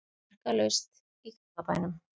Markalaust í Garðabænum